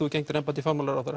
þú gegndir embætti fjármálaráðherra